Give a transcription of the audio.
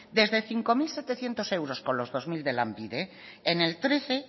desde cinco mil setecientos euros con los dos mil de lanbide en el dos mil trece